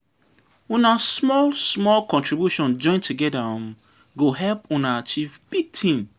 Una small-small contribution join togeda um go help una achieve big tin.